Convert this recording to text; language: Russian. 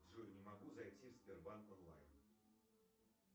джой не могу зайти в сбербанк онлайн